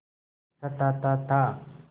सताता था